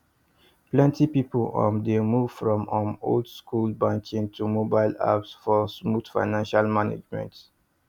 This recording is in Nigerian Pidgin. plenty people um dey move from um old school banking to mobile apps for smooth financial management